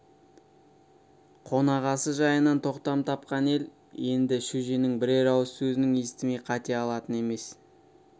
қонақасы жайынан тоқтам тапқан ел енді шөженің бірер ауыз сөзін естімей кете алатын емес